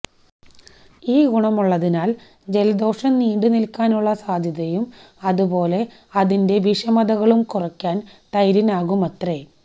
ഈ ഗുണങ്ങളുള്ളതിനാല് ജലദോഷം നീണ്ടുനില്ക്കാനുള്ള സാധ്യതയും അതുപോലെ അതിന്റെ വിഷമതകളും കുറയ്ക്കാന് തൈരിനാകുമത്രേ